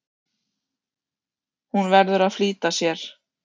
Hún verður að flýta sér.